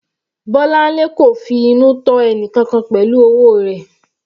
Bolanle kò finú tọ́ ẹnìkankan pẹ̀lú owó rẹ̀.